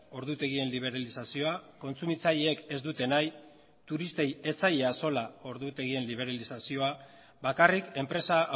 ordutegien liberalizazioa kontsumitzaileek ez dute nahi turistei ez zaie axola ordutegien liberalizazioa bakarrik enpresa